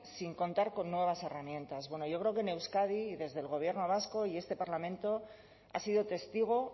sin contar con nuevas herramientas bueno yo creo que en euskadi desde el gobierno vasco y este parlamento ha sido testigo